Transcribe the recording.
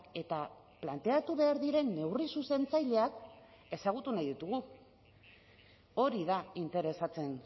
eta planteatu behar diren neurri zuzentzaileak ezagutu nahi ditugu hori da interesatzen